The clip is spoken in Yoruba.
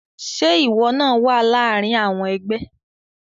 Ṣe iwọ naa wa láàrin àwọn ẹgbẹ?